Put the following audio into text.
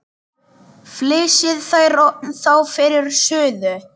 Flysjið þær þá fyrir suðu.